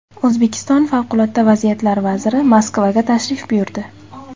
O‘zbekiston favqulodda vaziyatlar vaziri Moskvaga tashrif buyurdi.